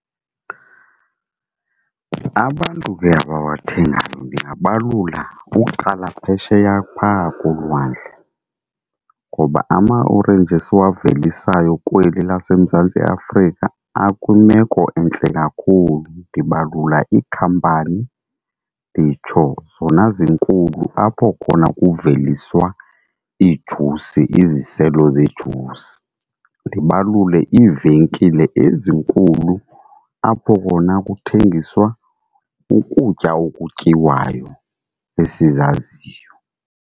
Abantu ke abawathengayo ndingabalula uqala phesheya phaa kolwandle, ngoba ama-orenji esiwavelisayo kweli laseMzantsi Afrika akwimeko entle kakhulu. Ndibalula iikhampani nditsho zona zinkulu apho khona kuveliswa iijusi, iziselo zejusi. Ndibalule iivenkile ezinkulu apho khona kuthengiswa ukutya okutyiwayo esizaziyo.